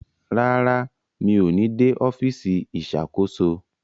Rara, mi o ní dé ọfisi Ìṣàkóso